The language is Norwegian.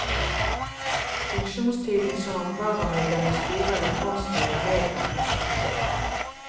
Funksjonstiden som varamedlem i styre eller fondsstyre medregnes ikke.